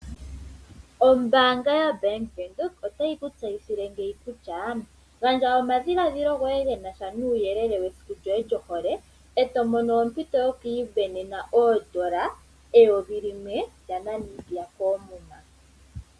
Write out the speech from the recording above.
Ombaanga yaBank Windhoek otayi kutseyithile ngeyi kutya gandja omadhiladhilo goye genasha nuuyelele esiku yoye lyohole eto mono ompito yo kuiisindanena N$1000 koomuma.